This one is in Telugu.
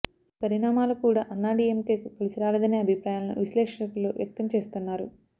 ఈ పరిణామాలు కూడ అన్నాడిఎంకెకు కలిసిరాలేదనే అభిప్రాయాలను విశ్లేషకులు వ్యక్తం చేస్తున్నారు